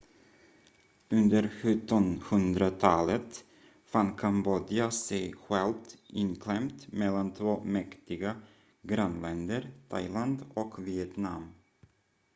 under 1700-talet fann kambodja sig självt inklämt mellan två mäktiga grannländer thailand och vietnam